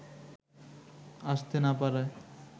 আসতে না পারায়